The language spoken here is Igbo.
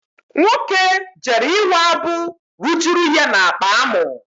Nwoke jere ịwa abụ rujuru ya n'akpa amụ.